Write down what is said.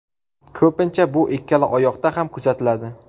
Ko‘pincha bu ikkala oyoqda ham kuzatiladi.